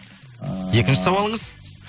ыыы екінші сауалыңыз